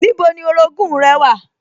Níbo ni orogún-ùn rẹ wà?